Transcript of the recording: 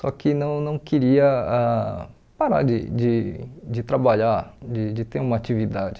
só que não não queria ãh parar de de de trabalhar, de de ter uma atividade.